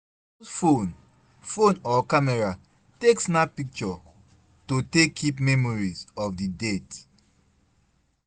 Use phone phone or camera take snap picture to take keep memories of di date